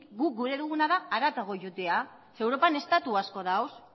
guk gura duguna da haratago joatea zeren europan estatu asko daude